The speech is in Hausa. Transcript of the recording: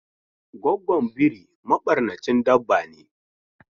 Goggon biri mabarnacin dabba ne.